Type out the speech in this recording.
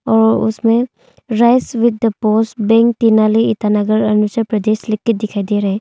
और उसमें rice with the post bank Tenali Itanagar Arunachal Pradesh लिखकर दिखाई दे रहे है।